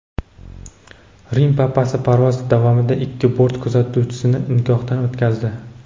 Rim papasi parvoz davomida ikki bort kuzatuvchisini nikohdan o‘tkazdi.